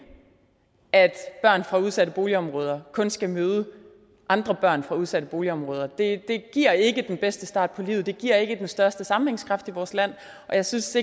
at børn fra udsatte boligområder kun skal møde andre børn fra udsatte boligområder det giver ikke den bedste start på livet det giver ikke den største sammenhængskraft i vores land jeg synes